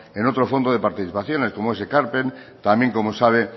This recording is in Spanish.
en otro fondo de participaciones como es ekarpen también como sabe